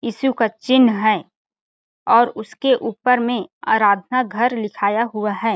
ईशू का चिन्ह है और उसके ऊपर में आराधना घर लिखाया हुआ हैं ।